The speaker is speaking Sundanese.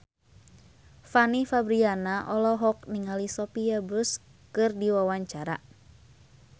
Fanny Fabriana olohok ningali Sophia Bush keur diwawancara